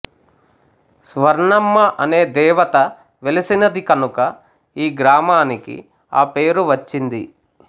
స్వర్ణమ్మ అనే దేవత వెలసినది కనుక ఈ గ్రామానికి ఆ పేరు వచ్చింది